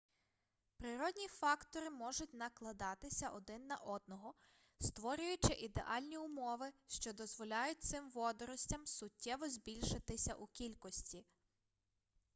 природні фактори можуть накладатися один на одного створюючи ідеальні умови що дозволяють цим водоростям суттєво збільшитися у кількості